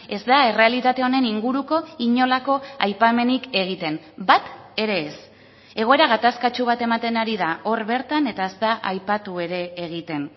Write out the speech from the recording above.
ez da errealitate honen inguruko inolako aipamenik egiten bat ere ez egoera gatazkatsu bat ematen ari da hor bertan eta ez da aipatu ere egiten